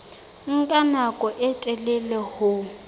nka nako e telele ho